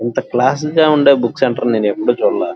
ఎంత క్లాస్సింగ్ గా ఉండే బుక్స్ అంటారు కదా కంప్యూటరు లా--